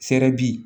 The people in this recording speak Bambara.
Fɛrɛ bi